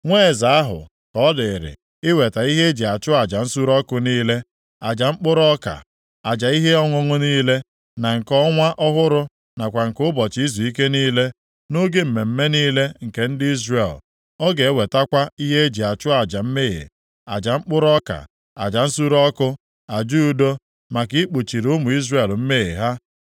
Nwa eze ahụ ka ọ dịrị iweta ihe eji achụ aja nsure ọkụ niile, aja mkpụrụ ọka, aja ihe ọṅụṅụ niile, na nke Ọnwa ọhụrụ nakwa nke ụbọchị izuike niile, nʼoge mmemme niile nke ndị Izrel. Ọ ga-ewetakwa ihe eji achụ aja mmehie, aja mkpụrụ ọka, aja nsure ọkụ, aja udo maka ikpuchiri ụmụ Izrel mmehie ha.